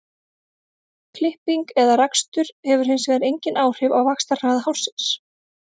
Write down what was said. klipping eða rakstur hefur hins vegar engin áhrif á vaxtarhraða hársins